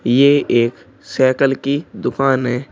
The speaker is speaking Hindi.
ये एक साइकिल की दुकान है।